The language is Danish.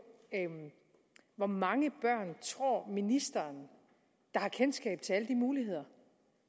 hvor mange børn tror ministeren har kendskab til alle de muligheder